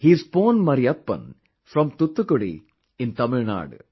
He is Pon Mariyappan from Thoothukudi in Tamil Nadu